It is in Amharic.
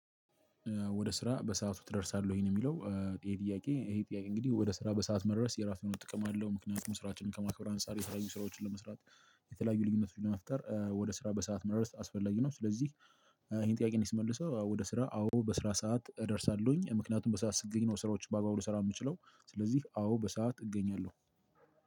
ወደ ስራ በሰአቱ ትደርሳለህ ወይ? ነው የሚለው። ይሄ ጥያቄ ይሄ ጥያቄ እንግዲህ ወደ ስራ በሰአት መድረስ የራሱ የሆነ ጥቅም አለው። ምክንያቱም ስራችንን ከማክበር አንፃር የተለያዩ ስራዎችን ለመስራት የተለያዩ ልዩነቶችን ለመፍጠር ወደ ስራ በሰአት መድረስ አስፈላጊ ነው። ስለዚህ ይሄን ጥያቄ እኔ ስመልሰው አዎ ወደ ስራ አዎ በስራ ሰዓት እደርሳለሁኝ። ምክንያቱም በሰአት ስትገኝ ነው ስራዎችን በአግባቡ ልሰራ የምችለው። ስለዚህ አዎ በሰአት እገኛለሁ።